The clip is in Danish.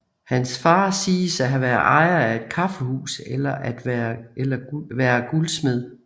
Hans far siges at have været ejer af et kaffehus eller være guldsmed